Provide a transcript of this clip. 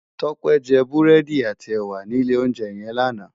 Tope jè búrèdí àtí èwá ni ilé óunjè yèn làná